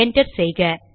enter செய்க